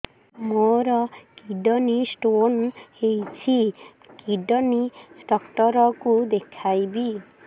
ମୋର kidney stone ହେଇଛି kidney doctor କୁ ଦେଖାଇବି